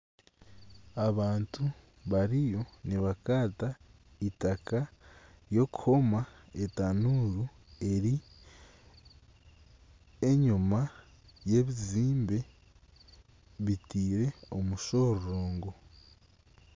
Abantu bariyo nibakaata eitaka ry'okuhoma etanuuru eri enyima y'ebizimbe bitaire omushororongo